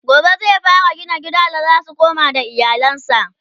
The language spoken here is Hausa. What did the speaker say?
gobe zai fara gina gidan da zasu koma da iyalansa?